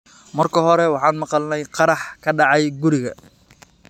'Marka hore waxaan maqalnay qarax ka dhacay guriga.